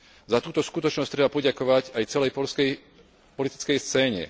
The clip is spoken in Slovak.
Za túto skutočnosť treba poďakovať aj celej poľskej politickej scéne.